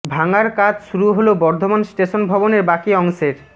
ভাঙার কাজ শুরু হল বর্ধমান স্টেশন ভবনের বাকি অংশের